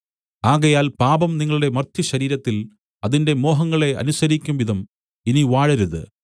ആകയാൽ പാപം നിങ്ങളുടെ മർത്യശരീരത്തിൽ അതിന്റെ മോഹങ്ങളെ അനുസരിക്കുംവിധം ഇനി വാഴരുത്